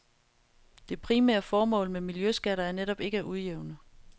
Det primære formål med miljøskatter er netop ikke at udjævne.